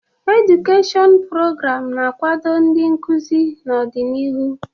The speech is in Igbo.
Edụkeshịọn prograamụ na-akwado ndị nkuzi n'ọdịnihu.